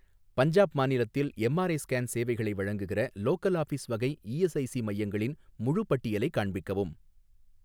பஞ்சாப் மாநிலத்தில் MRI scan சேவைகளை வழங்குகிற லோக்கல் ஆஃபீஸ் வகை இஎஸ்ஐசி மையங்களின் முழுப் பட்டியலையும் காண்பிக்கவும்.